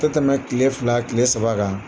A tɛ tɛmɛ tile fila tile saba kan.